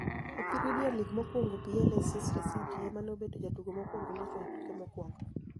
E premier league mokwonigo PA Leicester city ema ni e obedo jotugo mokwonigo locho e tuke mokwonigo .